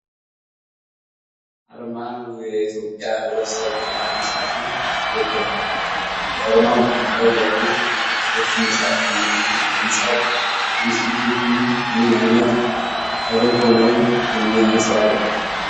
አርማ ው የኢትዮጵያ ህብረተሰብ ጤና ኢንስቲትዩትን ይወክላል። የአርማው መሀል ላይ ያሉት ክፍት መጽሐፍትና ሕንፃው የኢንስቲትዩቱን ምን አይነት ተልዕኮ ነው የሚያንፀባርቁት?